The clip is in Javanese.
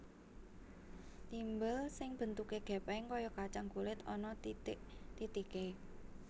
Timbel sing bentuke gèpèng kaya kacang kulit ana titik titiké